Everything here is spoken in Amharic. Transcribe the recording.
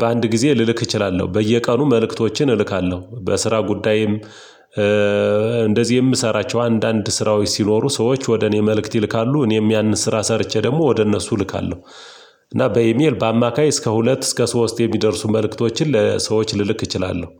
በአንድ ጊዜ ልልክ እችላለሁ። በየቀኑ መልእክቶችን እልካለሁ በስራ ጉዳይም እንደዚህ የምሰራቸው አንዳንድ ስራዎች ሲኖሩ ሰዎች ወደ እኔ መልእክት ይልካሉ እኔም ያንን ስራ ሰርቼ ደግሞ ወደ እነሱ እልካለሁ። እና በኢሜል በአማካይ እስከ ሁለት እስከ ሶስት የሚደርሱ መልእክቶችን ለሰዎች ልልክ እችላለሁ